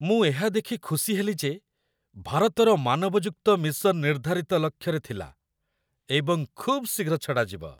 ମୁଁ ଏହା ଦେଖି ଖୁସି ହେଲି ଯେ ଭାରତର ମାନବଯୁକ୍ତ ମିଶନ ନିର୍ଦ୍ଧାରିତ ଲକ୍ଷ୍ୟରେ ଥିଲା ଏବଂ ଖୁବ୍ ଶୀଘ୍ର ଛଡ଼ାଯିବ।